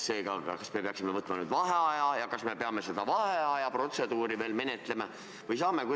Seega, kas me peaksime võtma nüüd vaheaja ja kas me peame ka seda vaheajaprotseduuri menetlema?